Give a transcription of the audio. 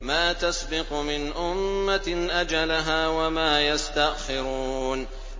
مَّا تَسْبِقُ مِنْ أُمَّةٍ أَجَلَهَا وَمَا يَسْتَأْخِرُونَ